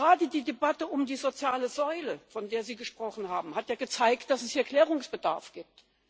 Auch gerade die Debatte um die soziale Säule, von der Sie gesprochen haben, hat ja gezeigt, dass es hier Klärungsbedarf gibt.